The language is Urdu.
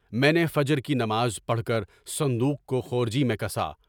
میں نے فجر کی نماز پڑھ کر صندوق کو خرجی میں کسا۔